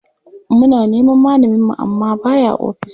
Muna neman malaminmu amma ba ya ofis.